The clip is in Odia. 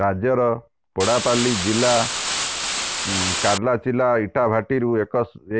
ରାଜ୍ୟର ପେଡାପାଲ୍ଲୀ ଜିଲ୍ଲା କାର୍ଲାଚିଲା ଇଟାଭାଟିରୁ